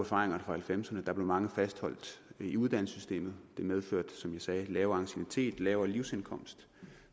fra nitten halvfemserne hvor mange blev fastholdt i uddannelsessystemet det medførte som jeg sagde lavere anciennitet og lavere livsindkomst